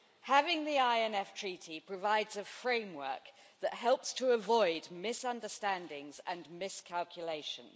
Having the INF Treaty provides a framework that helps to avoid misunderstandings and miscalculations.